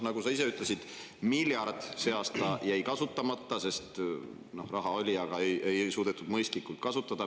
Nagu sa ise ütlesid, miljard jäi see aasta kasutamata – raha oli, aga ei suudetud seda mõistlikult kasutada.